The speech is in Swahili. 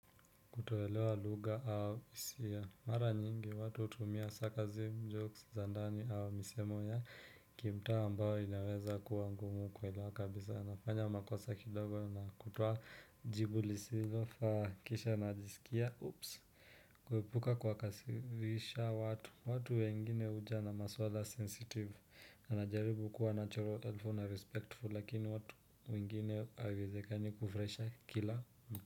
Kutoelewa lugha au hisia. Mara nyingi watu hutumia sarcasim, jokes, za ndani au misemo ya kimtaa ambayo inaweza kuwa ngumu kuelewa kabisa. Anafanya makosa kidogo na kutuoa jibu lisilofaa kisha najisikia. Ups, kuhepuka kuwakasirisha watu. Watu wengine huja na maswala sensitive. Anajaribu kuwa natural helpful na respectful lakini watu wengine haiwezekani kufurahisha kila.